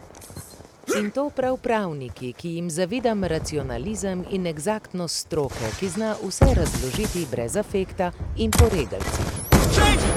In to prav pravniki, ki jim zavidam racionalizem in eksaktnost stroke, ki zna vse razložiti brez afekta in po regelcih.